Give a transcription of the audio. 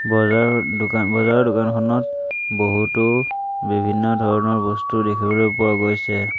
বজাৰ দোকান বজাৰ দোকানখনত বহুতো বিভিন্ন ধৰণৰ বস্তু দেখিবলৈ পোৱা গৈছে।